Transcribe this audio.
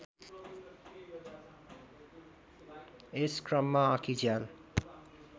यस क्रममा आँखीझ्याल